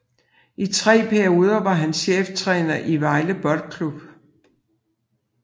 I tre perioder var han cheftræner i Vejle Boldklub